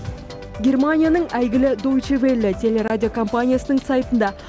германияның әйгілі дойче велле телерадиокомпаниясының сайтында